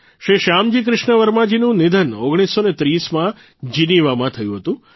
શ્રી શ્યામજી કૃષ્ણ વર્માજીનું નિધન ૧૯૩૦માં જીનીવામાં થયું હતું